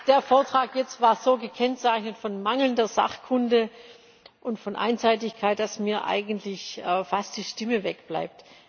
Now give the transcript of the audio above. Der Vortrag jetzt war so gekennzeichnet von mangelnder Sachkunde und von Einseitigkeit, dass mir eigentlich fast die Stimme wegbleibt.